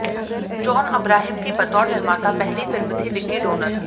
John Abraham की बतौर निर्माता पहली फिल्म थी विकी डोनर